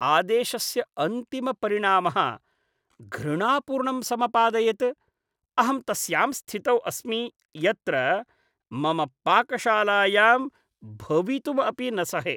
आदेशस्य अन्तिमपरिणामः घृणापूर्णं समपादयत्। अहं तस्यां स्थितौ अस्मि यत्र मम पाकशालायां भवितुं अपि न सहे।